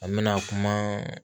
An bɛna kuma